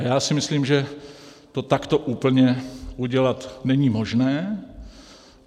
A já si myslím, že to takto úplně udělat není možné.